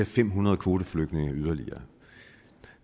fem hundrede kvoteflygtninge yderligere